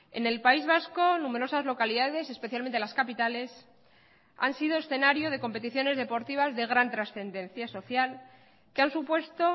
en el país vasco numerosas localidades especialmente las capitales han sido escenario de competiciones deportivas de gran trascendencia social que han supuesto